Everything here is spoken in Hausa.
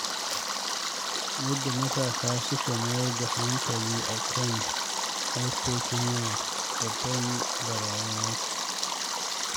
Yadda matasa suka mayar da hankali a kan harkokin waya, babbar barazana ce.